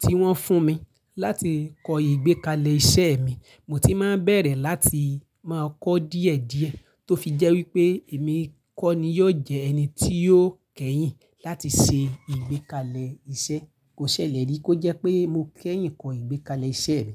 tí wọ́n fún mi láti kọ ìgbékalẹ̀ iṣẹ́ mi, mo ti máa bẹ̀rẹ̀ láti máa kọ díẹ̀ díẹ̀ tó fi jẹ́ wípé èmi kọ́ ni yóò jẹ́ ẹni tí yóò kẹ́yìn láti ṣe ìgbékalẹ̀ iṣẹ́. Kó ṣẹlẹ̀ rí kó jẹ́ pé mo kẹ́yìn kọ ìgbékalẹ̀ iṣẹ́ mi.